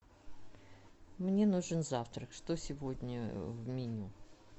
мне нужен завтрак что сегодня в меню